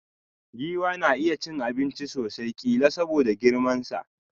Giwa na iya cin abinchi sosai, killa soboda girman sa.